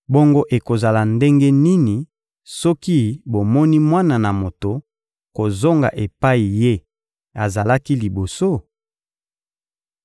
Bongo ekozala ndenge nini soki bomoni Mwana na Moto kozonga epai Ye azalaki liboso?